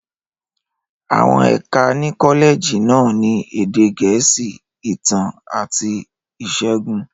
Àwọn ẹ̀ka ní kọ́lẹ́ẹ̀jì náà ni Èdè Gẹ̀ẹ́sì, Ìtàn, àti Ìṣègùn.